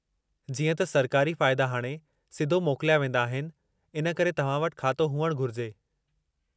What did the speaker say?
जीअं त सरकारी फ़ाइदा हाणे सिधो मोकिलिया वेंदा आहिनि, इन करे तव्हां वटि खातो हुअणु घुरिजे।